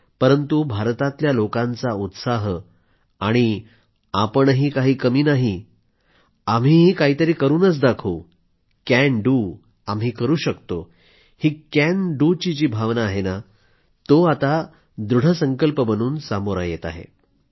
परंतु भारतातल्या लोकांचा उत्साह आणि आपणही काही कमी नाहीत आम्हीही काहीतरी करूनच दाखवू कॅन डू आम्ही करू शकतो ही कॅन डूची जी भावना आहे ना तो आता दृढसंकल्प बनून सामोरी येत आहे